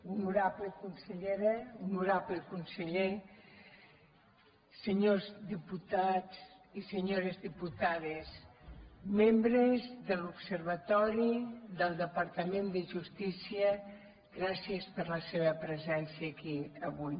honorable consellera honorable conseller senyors diputats i senyores diputades membres de l’observatori del departament de justícia gràcies per la seva presència aquí avui